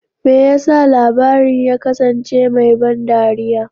Me yasa labarin ya kasance mai ban dariya?